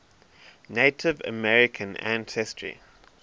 native american ancestry